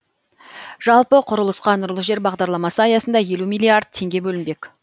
жалпы құрылысқа нұрлы жер бағдарламасы аясында елу миллиард теңге бөлінбек